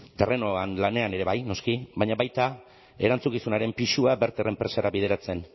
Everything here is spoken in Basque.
terrenoan lanean ere bai noski baina baita erantzukizunaren pisua verter enpresara bideratzen